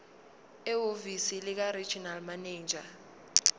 ehhovisi likaregional manager